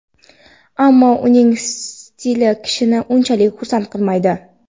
ammo uning stili kishini unchalik xursand qilmaydi.